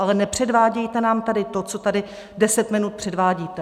Ale nepředvádějte nám tady to, co tady 10 minut předvádíte.